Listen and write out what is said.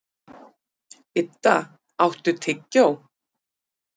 Idda, áttu tyggjó?